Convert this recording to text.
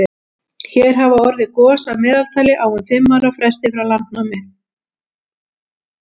hér hafa orðið gos að meðaltali á um fimm ára fresti frá landnámi